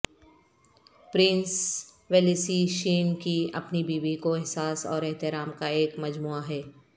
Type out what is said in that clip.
prince ویلیسی شین کی اپنی بیوی کو احساس اور احترام کا ایک مجموعہ ہے